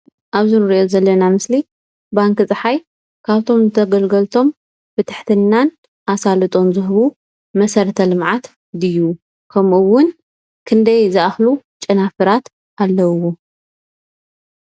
ኣብዚ እንሪኦ ዘለና ምስሊ ባንኪ ፀሓይ ካብቶም ንተገልገልቶም ብትሕትናን ኣሳልጦን ዝህቡ መሰረተ ልምዓት ድዩ? ከምኡ እውን ክንደይ ዝኣኽሉ ጨናፍራት ኣለውዎ?